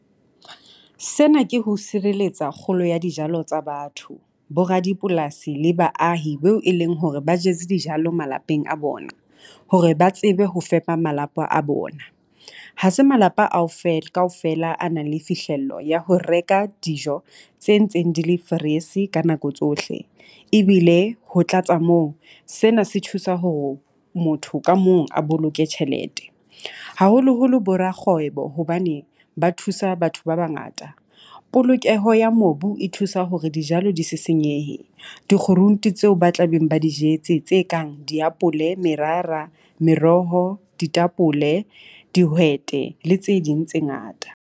Sena ke ho sireletsa kgolo ya dijalo tsa batho, bo radipolasi le baahi beo e leng hore ba jwetse dijalo malapeng a bona. Hore ba tsebe ho fepa malapa a bona. Ha se malapa a feela kaofela a nang le fihlello ya ho reka dijo tse ntseng di le freeze ka nako tsohle, ebile ho tlatsa moo sena se thusa ho motho ka mong a boloke tjhelete. Haholoholo bo rakgwebo hobane ba thusa batho ba bangata. Polokeho ya mobu e thusa hore dijalo di se senyehe, di-groente tseo ba tla beng ba jetse tse kang diapole, merara, meroho, ditapole, dihwete le tse ding tse ngata.